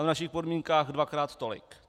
A v našich podmínkách dvakrát tolik.